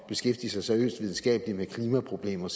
beskæftige sig seriøst videnskabeligt med klimaproblemer